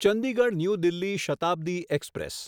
Chandigarh new Delhi Shatabdi express